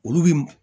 Olu bi